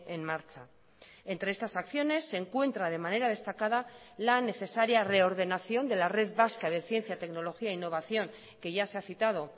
en marcha entre estas acciones se encuentra de manera destacada la necesaria reordenación de la red vasca de ciencia tecnología e innovación que ya se ha citado